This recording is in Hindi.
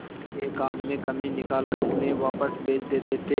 के काम में कमी निकाल कर उन्हें वापस भेज देते थे